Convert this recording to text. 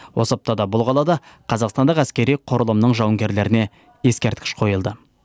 осы аптада бұл қалада қазақстандық әскери құрылымның жуынгерлеріне ескерткіш қойылды